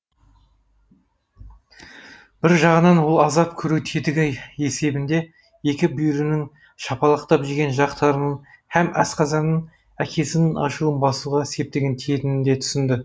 бір жағынан ол азап көру тетігі есебінде екі бүйірінің шапалақ жеген жақтарының һәм асқазанының әкесінің ашуын басуға септігі тиетінін де түсінді